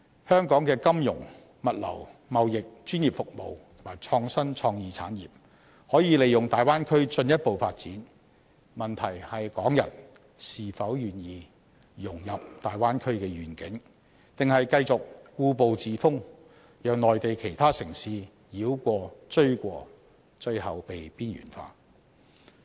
香港的金融、物流、貿易、專業服務及創新創意產業，可以利用大灣區進一步發展，問題是港人是否願意融入大灣區的願景，還是繼續故步自封，讓內地其他城市繞過、追過，最後被邊緣化？